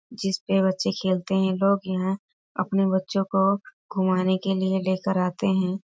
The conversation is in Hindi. जिस पे बच्चे खेलते है लोग यहां अपने बच्चों को घुमाने के लिए लेकर आते हैं।